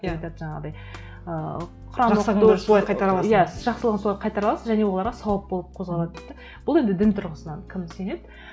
деп айтады жаңағындай ыыы жақсылығын солай қайтара аласың және оларға сауап болып қозғалады дейді де бұл енді дін тұрғысынан кім сенеді